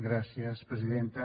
gràcies presidenta